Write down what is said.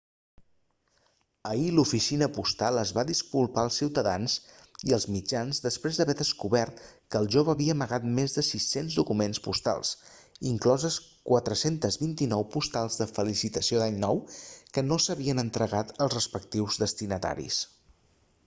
ahir l'oficina postal es va disculpar als ciutadans i als mitjans després d'haver descobert que el jove havia amagat més de 600 documents postals incloses 429 postals de felicitació d'any nou que no s'havien entregat als respectius destinataris